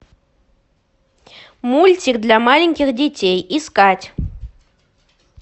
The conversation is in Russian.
мультик для маленьких детей искать